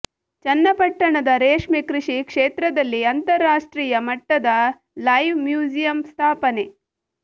ಚನ್ನಪಟ್ಟಣದ ರೇಷ್ಮೆ ಕೃಷಿ ಕ್ಷೇತ್ರದಲ್ಲಿ ಅಂತರರಾಷ್ಟ್ರೀಯ ಮಟ್ಟದ ಲೈವ್ ಮ್ಯೂಸಿಯಂ ಸ್ಥಾಪನೆ